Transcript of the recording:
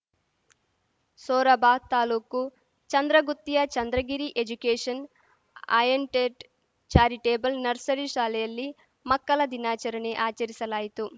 ಸೊರಬ ತಾಲೂಕು ಚಂದ್ರಗುತ್ತಿಯ ಚಂದ್ರಗಿರಿ ಎಜುಕೇಶನ್‌ ಆಯಂಟೇಟ್ charitable nursery ಶಾಲೆಯಲ್ಲಿ ಮಕ್ಕಲ ದಿನಾಚರಣೆ ಆಚರಿಸಲಾಯಿತು